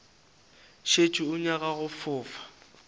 šetše o nyaka go fofa